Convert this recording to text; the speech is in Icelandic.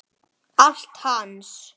Allir klappa.